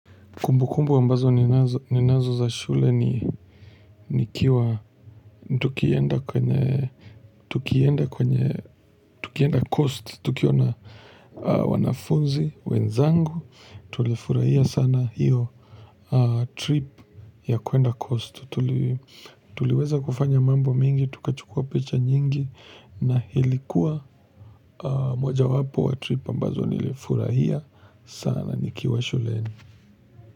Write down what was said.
Kumbu kumbu ambazo ninazo za shule ni nikiwa, tukienda kwenye, tukienda kwenye, tukienda kwenye, tukienda coast, tukiwa na wanafunzi wenzangu tulifurahaia sana iyo trip ya kuenda coast tuliweza kufanya mambo mengi tukachukua picha nyingi na ilikuwa moja wapo ya trip ambazo nilifurahia sana nikiwa shuleni.